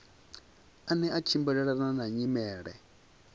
ane a tshimbilelana na nyimele